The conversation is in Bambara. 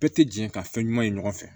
Bɛɛ tɛ jɛ ka fɛn ɲuman ye ɲɔgɔn fɛ